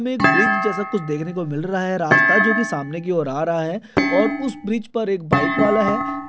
हमें एक ब्रिज जैसा कुछ देखने को मिल रहा है रास्ता जो कि सामने की ओर आ रहा है और उस ब्रिज पर एक बाइक वाला है।